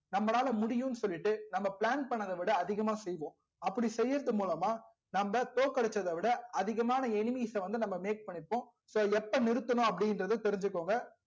நம்பளால முடியும் னு சொல்லிட்டு நம்ப plan பண்ணத விட அதிகமா செய்வோம் அப்டி செய்யறது மூலமா நம்ப தோக்கடிச்சத விட அதிகமான enemies வந்து make பண்ணி இருகோம் so இப்போ நிறுத்தனும் அப்டி இங்கர்த தெரிஞ்சிகோங்க